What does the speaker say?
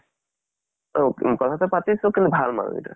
অহ কথা টো পাতিছো, কিন্তু ভাল মানুহ গিটা।